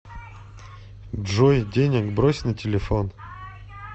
джой денег брось на телефон